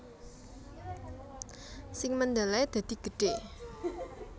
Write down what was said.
Sing mendele dadi gedhe